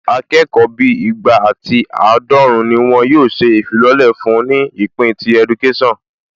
Akẹ́kọ̀ọ́ bíi igba ati àádọ́run ni wọn yóò ṣe ìfilọ́lẹ̀ fún ní ìpín ti ẹdukésàn